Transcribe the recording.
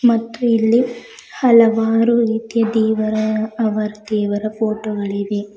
ಮತ್ತು ಇಲ್ಲಿ ಹಲವಾರು ರೀತಿಯ ದೇವರ ಅವರ ದೇವರ ಫೋಟೋ ಗಳಿವೆ.